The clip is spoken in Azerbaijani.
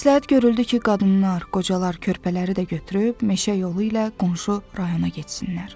Məsləhət görüldü ki, qadınlar, qocalar körpələri də götürüb meşə yolu ilə qonşu rayona getsinlər.